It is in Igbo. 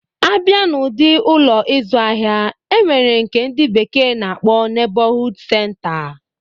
A bịa n'ụdi Ụlọ ịzụ ahịa, e nwere nke ndị bekee na-akpọ Nebọhuud senta